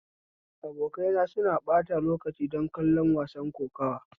Abokaina suna ɓata lokaci don kallon wasan kokuwa